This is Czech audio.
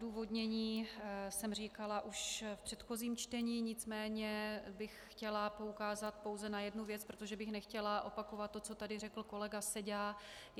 Odůvodnění jsem říkala již v předchozím čtení, nicméně bych chtěla poukázat pouze na jednu věc, protože bych nechtěla opakovat to, co tady řekl kolega Seďa.